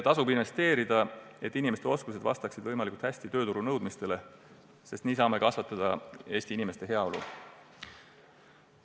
Tasub investeerida sellesse, et inimeste oskused vastaksid võimalikult hästi tööturunõuetele, sest nii saame kasvatada Eesti inimeste heaolu.